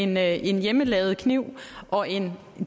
med en hjemmelavet kniv og en